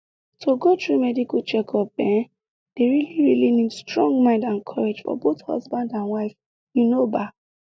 to go through medical checkup ehnne dey really really need strong mind and courage for both husband and wife you know baa